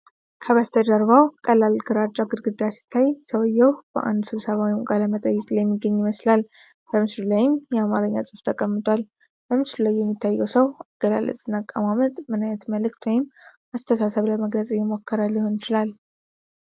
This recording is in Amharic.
ከበስተጀርባው ቀላል ግራጫ ግድግዳ ሲታይ፣ ሰውዬው በአንድ ስብሰባ ወይም ቃለ-መጠይቅ ላይ የሚገኝ ይመስላል። በምስሉ ላይም የአማርኛ ጽሑፍ ተቀምጧል። በምስሉ ላይ የሚታየው ሰው አገላለጽና አቀማመጥ ምን ዓይነት መልዕክት ወይም አስተሳሰብ ለመግለጽ እየሞከረ ሊሆን ይችላል?